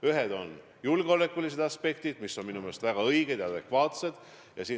Ühed on julgeolekulised aspektid, mida on minu meelest väga õige silmas pidada.